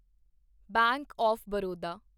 bank of Baroda